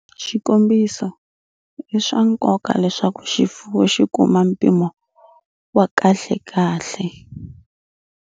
Xikombiso, i swa nkoka leswaku xifuwu xi kuma mpimo wa kahlekahle.